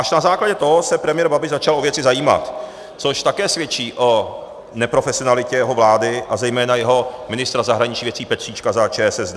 Až na základě toho se premiér Babiš začal o věci zajímat, což také svědčí o neprofesionalitě jeho vlády a zejména jeho ministra zahraničních věcí Petříčka za ČSSD.